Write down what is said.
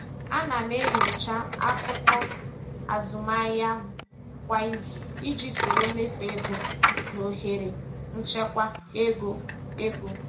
Ana m enyocha akụkọ azụmahịa m kwa izu iji soro mmefu ego na ohere nchekwa ego. ego.